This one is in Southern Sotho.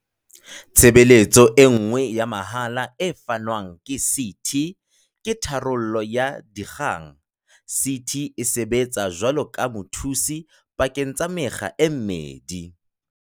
Tshebeletso e nngwe ya mahala e fanwang ke CT ke tharollo ya dikgang. CT e sebetsa jwaloka mothusi pakeng tsa mekga e mmedi.